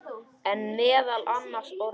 En meðal annarra orða.